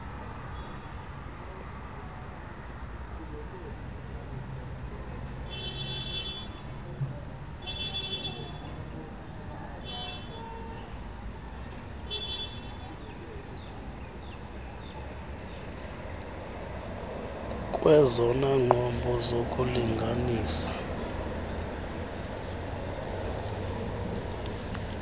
kwezona nqobo zokulinanisa